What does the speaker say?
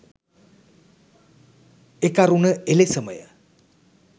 එකරුණ එලෙසමය.